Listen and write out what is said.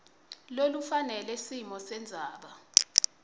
lolufanele simo sendzaba